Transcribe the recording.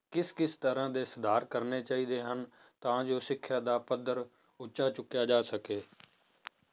ਕਿਸ ਕਿਸ ਤਰ੍ਹਾਂ ਦੇ ਸੁਧਾਰ ਕਰਨੇ ਚਾਹੀਦੇ ਹਨ, ਤਾਂ ਜੋ ਸਿੱਖਿਆ ਦਾ ਪੱਧਰ ਉੱਚਾ ਚੁੱਕਿਆ ਜਾ ਸਕੇ